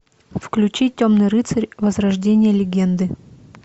включи темный рыцарь возрождение легенды